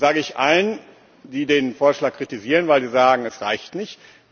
Das sage ich allen, die den Vorschlag kritisieren, weil sie sagen Es reicht nicht.